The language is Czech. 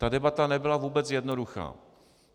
Ta debata nebyla vůbec jednoduchá.